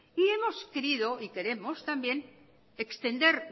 y hemos querido y queremos también extender